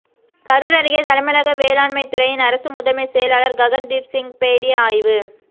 கரூர் அருகே தமிழக வேளாண்மைத்துறையின் அரசு முதன்மை செயலாளர் ககன் தீப் சிங் பேடி ஆய்வு